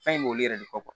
Fɛn in b'olu yɛrɛ de